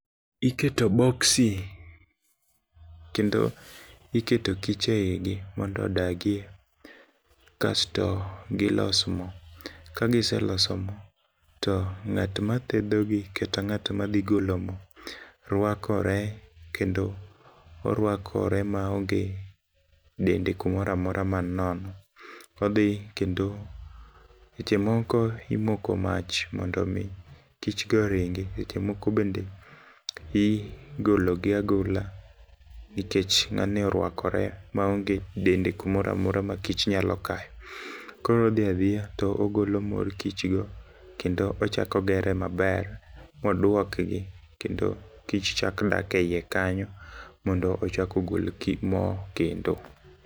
Iketo boksi kendo iketo kich e igi mondo odagie, kasto gilos mo. Ka giseloso mo, to ng'at ma thedhogi kata ng'at ma dhi golo mo, rwakore, kendo orwakore ma onge dende kumora mora ma ni nono. Odhi, kendo seche moko imoko mach mondo omi kik go oringi. Seche moko be igologi agola, nikech ng'ani orwakore ma onge dende kumora mora ma kich nyalo kayo. Koro odhi adhiya to ogolo mor kich go, kendo ochako ogere maber, moduokgi kendo kich chak dak e iye kanyo, mondo ochak ogol mo kendo.